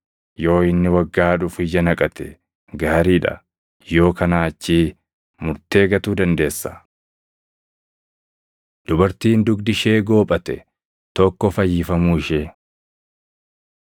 Yoo inni waggaa dhufu ija naqate, gaarii dha! Yoo kanaa achii murtee gatuu dandeessa.’ ” Dubartiin Dugdi Ishee Goophate Tokko Fayyifamuu Ishee